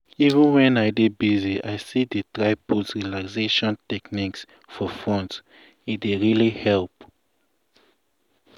even wen i dey busy i dey still try put relaxation techniques for front - e dey really help.